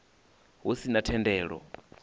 hu si na thendelo i